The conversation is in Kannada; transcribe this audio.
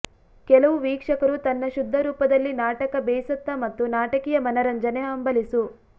ಕೆಲವು ವೀಕ್ಷಕರು ತನ್ನ ಶುದ್ಧ ರೂಪದಲ್ಲಿ ನಾಟಕ ಬೇಸತ್ತ ಮತ್ತು ನಾಟಕೀಯ ಮನರಂಜನೆ ಹಂಬಲಿಸು